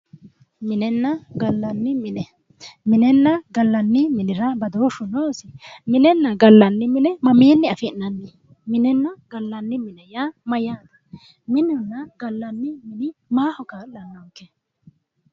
Minenna gallanni mine, minenna gallanni minira baadoshu noosi, minenna gallanni mine mamini afi'nanni ,minenna gallanni mine yaa mayate, minunna gallanni mini maaho ka'lanonke.